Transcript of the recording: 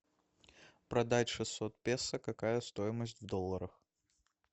продать шестьсот песо какая стоимость в долларах